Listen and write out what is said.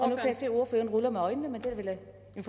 jeg se at ordføreren ruller med øjnene men det